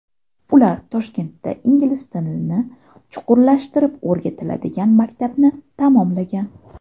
Ular Toshkentda ingliz tilini chuqurlashtirib o‘rgatiladigan maktabni tamomlagan.